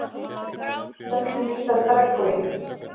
Hvernig myndast regnboginn?